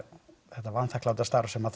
þetta vanþakkláta starf sem